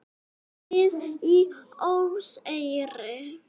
Snið í óseyri.